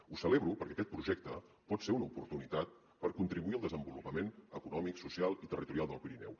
ho celebro perquè aquest projecte pot ser una oportunitat per contribuir al desenvolupament econòmic social i territorial del pirineu